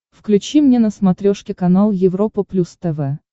включи мне на смотрешке канал европа плюс тв